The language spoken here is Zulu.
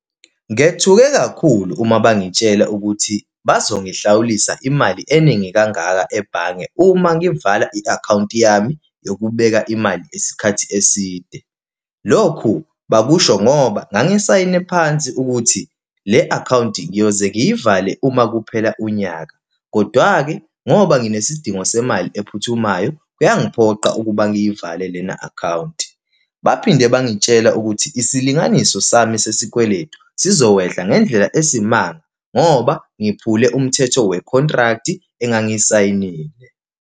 Ngethuke kakhulu uma bangitshela ukuthi bazongihlawulisa imali eningi kangaka ebhange uma ngivala i-akhawunti yami yokubeka imali isikhathi eside. Lokhu, bakusho ngoba ngangisayine ephansi ukuthi le-akhawunti ngiyoze ngiyivale uma kuphela unyaka, kodwa-ke ngoba nginezidingo semali ephuthumayo kuyangiphoqa ukuba ngiyivale lena akhawunti. Baphinde bangitshela ukuthi isilinganiso sami sesikweletu sizokwehla ngendlela esimanga, ngoba ngiphumule umthetho we-contract engangiyisayinile.